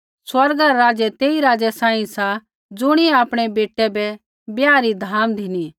स्वर्गा रा राज्य तेई राज़ै सांही सा ज़ुणियै आपणै बेटै रै ब्याह री धाम धिनी